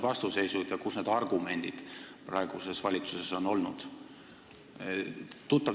Kus on see vastuseis ja millised on praeguse valitsuse argumendid?